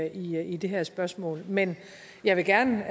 i i det her spørgsmål men jeg vil gerne